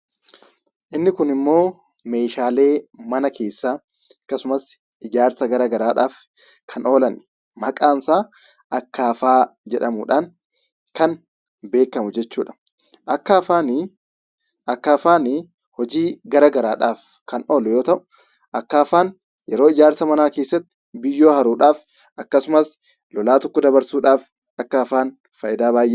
Inni kunimmoo meeshaalee mana keessaa akkasumas ijaarsa gara garaadhaaf kan oolan, maqaan isaa 'Akkaafaa' jedhamuudhaan kan beekamu jechuudha. Akkaafaani Akkaafaanii hojii gara garaadhaaf kan oolu yoo ta'u, Akkaafaan yeroo ijaarsa manaa keessatti biyyoo haruudhaaf akkasumas lolaa tokko dabarsuudhaaf Akkaafaan faayidaa baay'ee qaba.